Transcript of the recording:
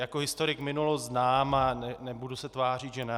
Jako historik minulost znám a nebudu se tvářit že ne.